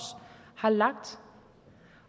har lagt